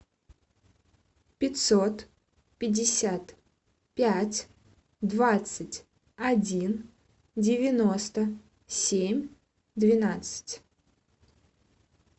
пятьсот пятьдесят пять двадцать один девяносто семь двенадцать